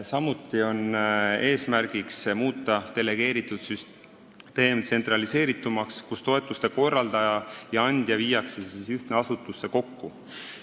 Samuti on eesmärk muuta delegeeritud süsteem tsentraliseeritumaks: toetuste korraldaja ja andja viiakse ühte asutusse kokku.